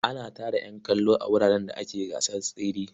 Ana tara ƴan kallo a wuraren da ake gasar tsere.